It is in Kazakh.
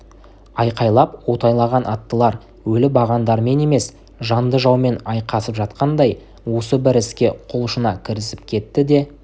айқайлап атойлаған аттылар өлі бағандармен емес жанды жаумен айқасып жатқандай осы бір іске құлшына кірісіп кетті